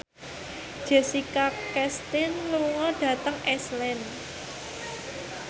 Jessica Chastain lunga dhateng Iceland